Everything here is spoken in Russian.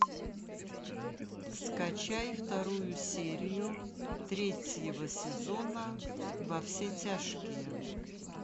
скачай вторую серию третьего сезона во все тяжкие